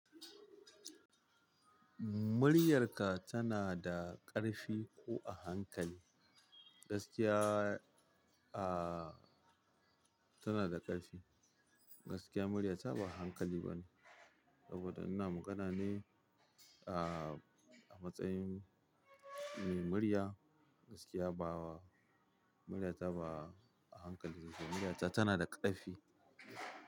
Muryarka tana da ƙarfi ko a hankali? Gaskiya, ah, tana da ƙarfi. Gaskiya murya ta ba hankali ba ne. Saboda ina magana ne, ah, a matsayin mai murya, gaskiya ba wa, murya ta ba a hankali. Murya ta tana da ƙarfi.